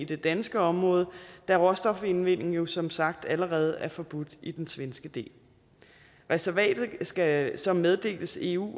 det danske område da råstofindvindingen jo som sagt allerede er forbudt i den svenske del reservatet skal så meddeles eu